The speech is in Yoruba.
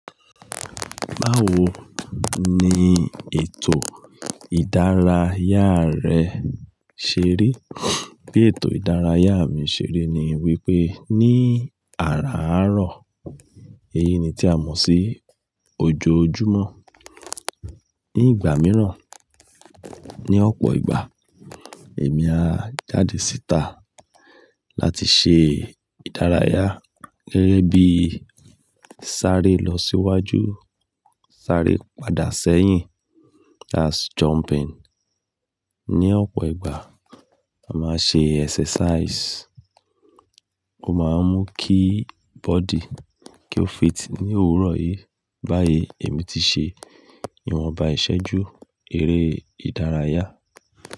Báwo ni ètò ìdárayá rẹ ṣe rí? Bí ètò ìdárayá mi ṣe rí ni wípé ní àràárọ̀, èyí ni tí a mọ̀ sí ojoojúmọ́. Ní ìgbà mìíràn, ní ọ̀pọ̀ ìgbà, èmi á jáde síta láti ṣe ìdárayá gẹ́gẹ́ bíi sáré lọ síwájú, sáré padà sẹ́yìn, that's jumping. Ní ọ̀pọ̀ ìgbà, a máa n ṣe exercise. Ó máa ń mú kí body kí ó fit. Ní òwúrọ̀ yìí báyìí, èmi ti ṣe ìwọ̀nba ìṣẹ́jú eré ìdárayá.